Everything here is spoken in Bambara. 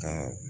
Ka